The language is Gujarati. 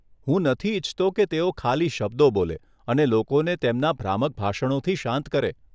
હું નથી ઈચ્છતો કે તેઓ ખાલી શબ્દો બોલે અને લોકોને તેમના ભ્રામક ભાષણોથી શાંત કરે.